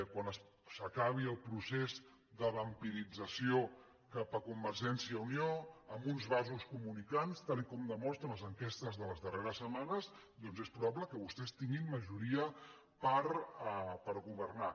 quan s’acabi el procés de vampirització cap a convergència i unió amb uns vasos comunicants tal com demostren les enquestes de les darrers setmanes doncs és probable que vostès tinguin majoria per governar